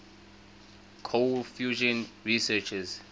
cold fusion researchers